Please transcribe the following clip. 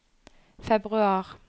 februar